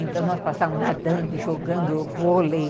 Então nós passávamos nadando, jogando vôlei.